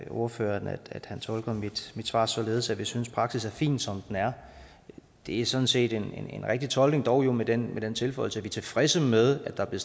ordføreren at han tolker mit svar således at vi synes praksis er fin som den er det er sådan set en rigtig tolkning dog med den med den tilføjelse at vi er tilfredse med at der er